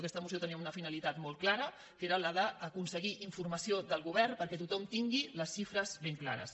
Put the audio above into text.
aquesta moció tenia una finalitat molt clara que era la d’aconseguir informació del govern perquè tothom tingui les xifres ben clares